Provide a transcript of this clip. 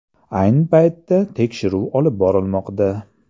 Ayni paytda tekshiruv olib borilmoqda.